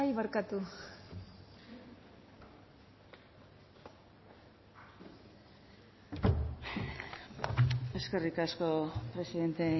eskerrik asko presidente